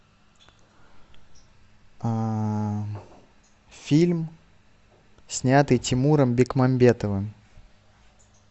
фильм снятый тимуром бекмамбетовым